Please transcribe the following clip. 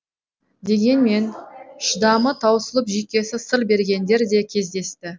дегенмен шыдамы таусылып жүйкесі сыр бергендер де кездесті